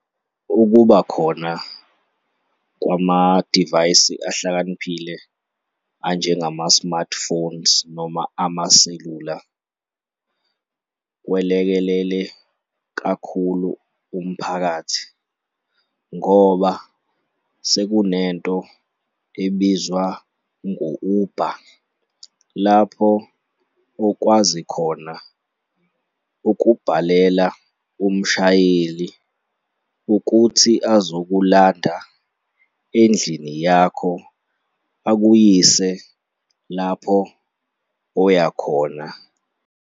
Ukuba khona kwamadivayisi ahlakaniphile anjengama-smartphones noma ama sesula kwelekelele kakhulu umphakathi ngoba seku nento ebizwa ngo-Uber lapho okwazi khona ukubhalela umshayeli ukuthi azokulanda endlini yakho akuyise lapho oya khona.